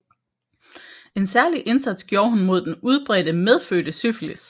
En særlig indsats gjorde hun mod den udbredte medfødte syfilis